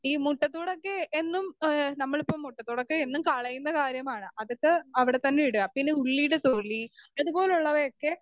speaker 2 ഈ മുട്ടത്തോടൊക്കെ എന്നും ഏഹ് നമ്മളിപ്പം മുട്ടത്തോടൊക്കെ എന്നും കളയുന്ന കാര്യമാണ് അതൊക്കെ അവിടെത്തന്നെ ഇടുക പിന്നെ ഉള്ളിയുടെ തൊലി അതുപോലുള്ളവയൊക്കെ